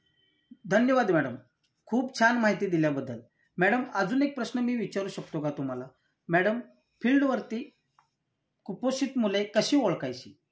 धन्यवाद मॅडम. खूप छान माहिती दिल्याबद्दल. मॅडम अजून एक प्रश्न मी विचारू शकतो का तुम्हाला? मॅडम, फील्डवरती कुपोषित मुळे कशी ओळखायची?